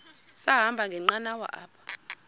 sahamba ngenqanawa apha